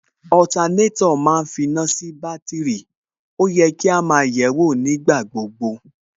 ma ń finá sí bátìrì, ó yẹ kí á máa yẹ̀ẹ́wò nígbà gbogbo